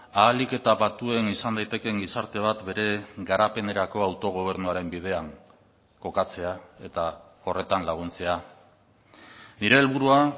ahalik eta batuen izan daitekeen gizarte bat bere garapenerako autogobernuaren bidean kokatzea eta horretan laguntzea nire helburua